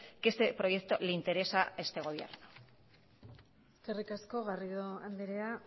que este proyecto le interesa a este gobierno eskerrik asko garrido andrea